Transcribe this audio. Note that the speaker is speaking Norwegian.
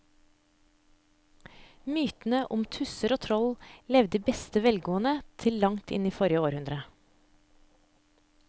Mytene om tusser og troll levde i beste velgående til langt inn i forrige århundre.